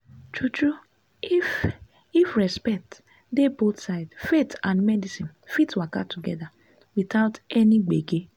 true true if if respect dey both sides faith and medicine fit waka together without any gbege.